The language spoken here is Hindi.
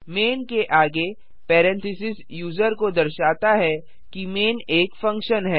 मैन के आगे पैरेंथेसिस यूजर को दर्शाता है कि मैन एक फंक्शन है